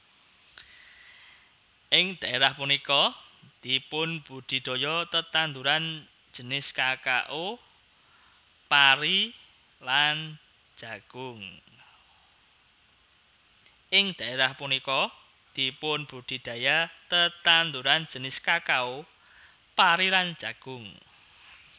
Ing dhaerah punika dipunbudidaya tetanduran jinis kakao pari lan jagung